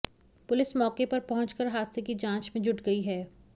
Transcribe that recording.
police मौके पर पहुंच कर हादसे की जांच में जुट गई है